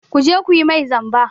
Ku je ku yi mai zamba!